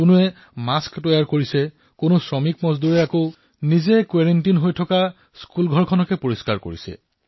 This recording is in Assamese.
কোনোবাই মাস্ক বনাইছে কৰবাত আমাৰ শ্ৰমিক ভাইভনীসকল কোৱাৰেণ্টাইনত যি বিদ্যালয়ত আছে সেই বিদ্যালয়ৰ নিৰ্মাণ কৰি আছে